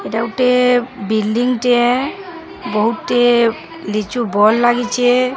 ଏଟା ଗୁଟେ ବିଲଡିଂ ଟେ ବହୁତ୍ ଟେ ଲିଚୁ ବଲ ଲାଗିଚେ।